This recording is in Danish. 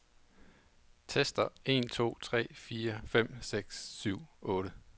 Tester en to tre fire fem seks syv otte.